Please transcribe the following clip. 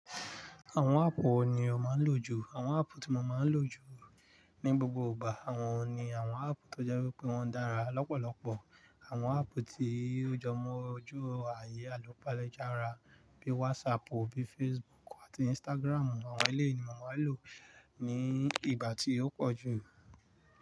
Àwọn áàpù wo ni o máa ń lò jù? Àwọn áàpù tí mo máa ń lò jù ní gbogbo ìgbà, àwọn ni àwọn áàpù tó jẹ́ wípé wọ́n dára lọ́pọ̀lọ́pọ̀. Àwọn áàpù tí ó jọmọ ọjọ́ ayé àlùpàlé jára bíi WhatsApp, bíi Facebook àti Instagram. Àwọn eléyìí ni mo máa ń lò ní ìgbà tí ó pọ̀ jù.